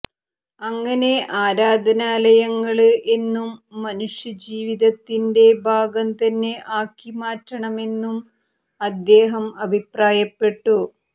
അങ്ങനെ ആരാധനാലയങ്ങള് എന്നും മനുഷ്യ ജീവിതത്തിന്റെ ഭാഗം തന്നെആക്കി മാറ്റണമെന്നും അദ്ദേഹം അഭിപ്രായപ്പെട്ടു